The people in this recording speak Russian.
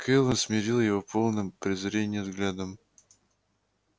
кэлвин смерила его полным презрения взглядом